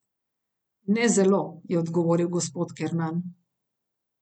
Ne zelo, je odgovoril gospod Kernan.